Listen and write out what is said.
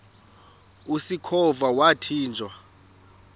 usikhova yathinjw a